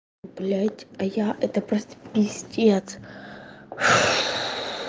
блять а я это просто пиздец